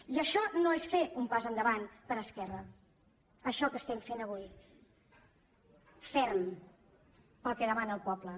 i això no és fer un pas endavant per esquerra això que estem fent avui ferm pel que demana el poble